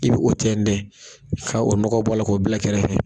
I bɛ o tɛntɛ , ka o nɔgɔ bɔ'ra k'o bila kɛrɛfɛ.